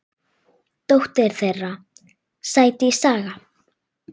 Dóttir þeirra: Sædís Saga.